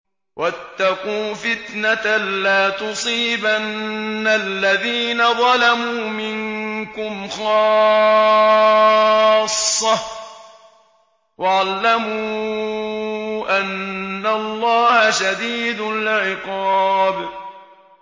وَاتَّقُوا فِتْنَةً لَّا تُصِيبَنَّ الَّذِينَ ظَلَمُوا مِنكُمْ خَاصَّةً ۖ وَاعْلَمُوا أَنَّ اللَّهَ شَدِيدُ الْعِقَابِ